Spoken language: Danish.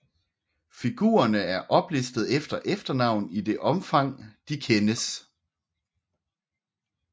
Figurerne er oplistet efter efternavn i det omfang de kendes